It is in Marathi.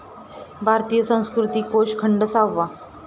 भारतीय संस्कृती कोष खंड सहावा